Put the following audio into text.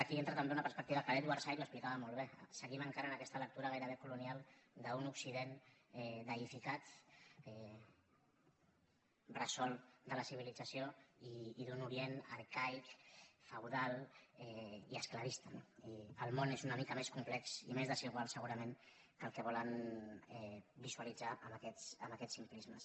aquí hi entra també una perspectiva que edward said explicava molt bé seguim encara en aquesta lectura gairebé colonial d’un occident deïficat bressol de la civilització i d’un orient arcaic feudal i esclavista no i el món és una mica més complex i més desigual segurament que el que volen visualitzar amb aquests simplismes